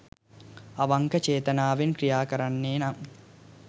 අවංක ‍චේතනාවෙන් ක්‍රියා කරන්නේ නම්